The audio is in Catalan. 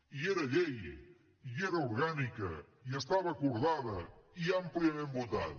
i era llei i era orgànica i estava acordada i àmpliament votada